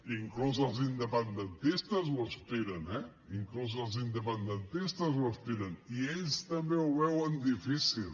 inclús els independentistes hi aspiren eh inclús els independentistes hi aspiren i ells també ho veuen difícil